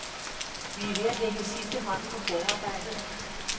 Vi er ved at lægge sidste hånd på forarbejdet.